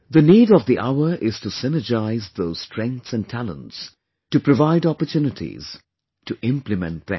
The need of the hour is to synergise those strengths and talents, to provide opportunities, to implement them